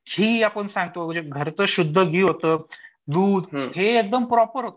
घी आपण जे सांगतो जे घरचं शुद्ध घी होतं, दूध हे एकदम प्रॉपर होतं